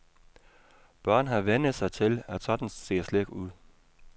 Børn har vænnet sig til, at sådan ser slik ud.